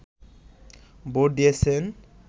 vote দিয়েছেন